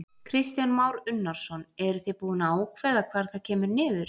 Kristján Már Unnarsson: Eruð þið búin að ákveða hvar það kemur niður?